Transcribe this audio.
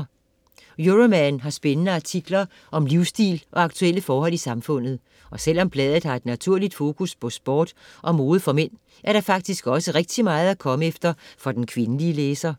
Euroman har spændende artikler om livsstil og aktuelle forhold i samfundet. Og selvom bladet har et naturligt fokus på sport og mode for mænd, er der faktisk også rigtig meget at komme efter for den kvindelige læser.